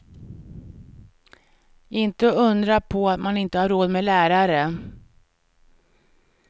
Inte undra på att man inte har råd med lärare.